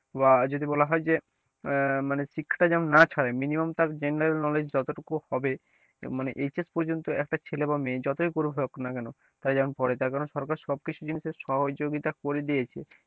বা যদি বলা হয়েছে যে আহ মানে শিক্ষাটা যেন না ছাড়ে minimum তার general knowledge যত টুকু হবে মানে HS পর্যন্ত একটা ছেলে বা মেয়ে যতই করে হোক না কেন তারা যেন পড়ে তার কারণ সরকার সব কিছু জিনিসের সহযোগিতা করে দিয়েছে,